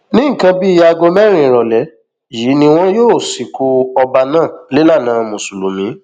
ní nǹkan bíi aago mẹrin ìrọlẹ yìí ni wọn yóò sìnkú ọba náà nílànà mùsùlùmí